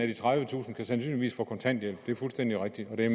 de tredivetusind kan sandsynligvis få kontanthjælp det er fuldstændig rigtigt og det